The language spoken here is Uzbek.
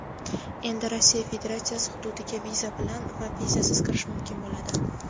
Endi Rossiya Federatsiyasi hududiga viza bilan va vizasiz kirish mumkin bo‘ladi.